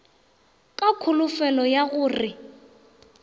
ka kholofelo ya go re